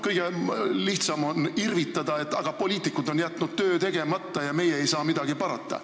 Kõige lihtsam on irvitada, et poliitikud on jätnud töö tegemata ja meie ei saa midagi parata.